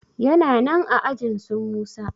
yana nan aajinsu musa